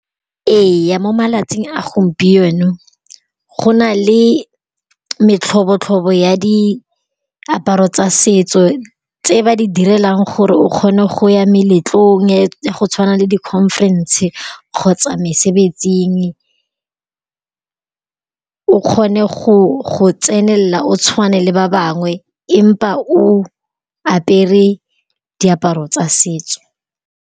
Ee, mo malatsing a gompieno go na le metlhobotlhobo ya diaparo tsa setso tse ba di direlang gore o kgone go ya meletlong-e ya go tshwana le di conference-e kgotsa mesebetsing o kgone go tsenelela o tshwane le ba bangwe empa o apere diaparo tsa setso.